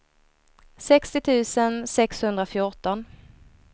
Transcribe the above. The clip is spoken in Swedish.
sextio tusen sexhundrafjorton